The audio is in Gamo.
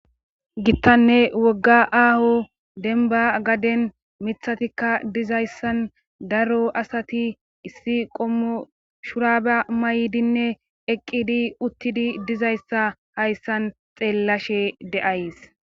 gittanne wogga aaho denba gaden mithatikka dizayssan daro asati issi qommo shuraba maydinne eqqidi uttidi dizayssa hayssan xeellashe de7ays